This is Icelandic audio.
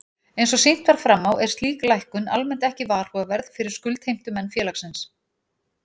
Eins og sýnt var fram á er slík lækkun almennt ekki varhugaverð fyrir skuldheimtumenn félagsins.